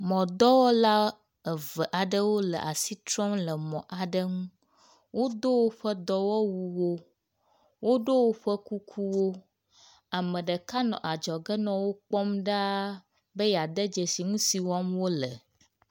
Mɔdɔwɔla eve aɖewo le asi trɔm le mɔ la ŋu, wodo woƒe dɔwɔwuwo, woɖo woƒe kukuwo. Ame ɖeka nɔ adzɔge nɔ wo kpɔm ɖaa be yeade dzesi nu si wɔm wole.